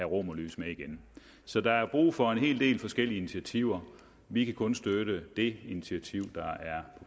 romerlys med igen så der er brug for en hel del forskellige initiativer vi kan kun støtte det initiativ der er